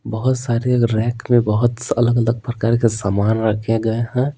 बहुत सारे रैक में बहुत अलग-अलग प्रकार के सामान रखे गए हैं।